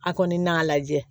A kɔni n'a lajɛ